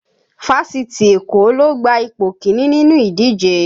Fásitì Èkó ló gba ipò kíní nínú ìdíje